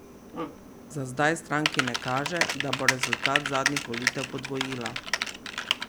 Za zdaj stranki ne kaže, da bo rezultat zadnjih volitev podvojila.